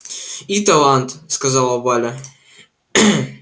и талант сказала валя